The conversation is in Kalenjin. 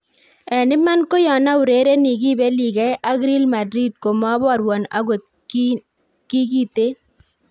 "En iman ko yon aurereni kibeligei ak Real Madrid komoborwon ogot kii kiten."